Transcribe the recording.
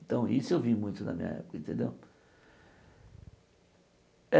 Então isso eu vi muito na minha época entendeu.